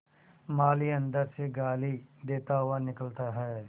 माली अंदर से गाली देता हुआ निकलता है